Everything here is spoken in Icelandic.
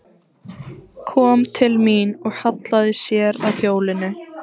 Kom til mín og hallaði sér að hjólinu.